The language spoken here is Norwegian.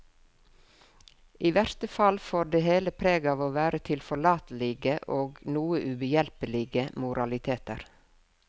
I verste fall får det hele preg av å være tilforlatelige og noe ubehjelpelige moraliteter.